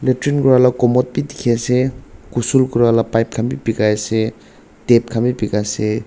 jun kurila comot bi dikhiase gusul kurala pipe khan bi bikaiase tap khan bi bika se.